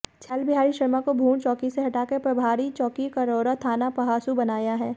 छैल बिहारी शर्मा को भूड़ चौकी से हटाकर प्रभारी चौकी करौरा थाना पहासू बनाया है